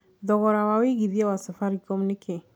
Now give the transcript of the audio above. thogora wa wĩigĩthĩa wa safaricom nĩ kĩĩ